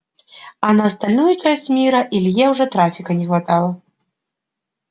а на остальную часть мира илье уже трафика не хватало